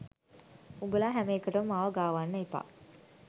උඹලා හැම එකටම මාව ගාවන්න එපා